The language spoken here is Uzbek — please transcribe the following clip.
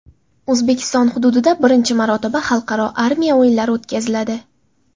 O‘zbekiston hududida birinchi marotaba Xalqaro armiya o‘yinlari o‘tkaziladi.